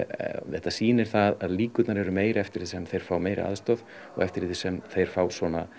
þetta sýnir að líkurnar eru meiri eftir því sem þeir fá meiri aðstoð og eftir því sem þeir fá